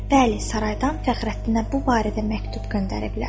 Bəli, saraydan Fəxrəddinə bu barədə məktub göndəriblər.